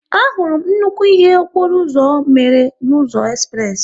A hụrụ m nnukwu ihe okporo ụzọ mmere n'ụzọ espress